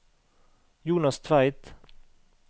Jonas Tveit